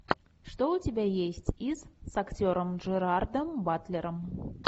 что у тебя есть из с актером джерардом батлером